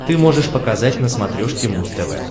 ты можешь показать на смотрешке муз тв